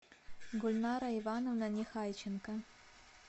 гульнара ивановна нехайченко